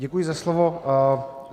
Děkuji za slovo.